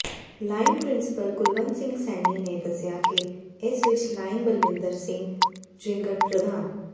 line principal Kulwant Singh Saini ਨੇ ਦੱਸਿਆ ਕਿ ਇਸ ਵਿੱਚ ਲਾਇਨ ਬਲਵਿੰਦਰ ਸਿੰਘ ਝਿੰਗੜ੍ ਪ੍ਰਧਾਨ